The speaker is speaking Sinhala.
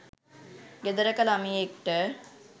ගෙදරක ලමයෙක්ට